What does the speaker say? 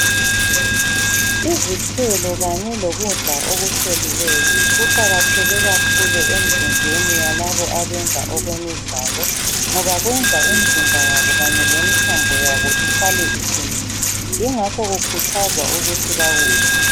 Izithelo kanye lokudla okuhloliweyo kuqakatheke kakhulu emzimbeni yalabo abenza okwemidlalo ngoba kwenza imizimba yabo kanye lemithambo yabo ihlale iqinile, yingakho kukhuthazwa ukuthi bakudle.